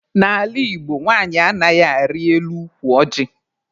N'ala Igbo, nwanyị anaghị arị elu ukwu ọjị.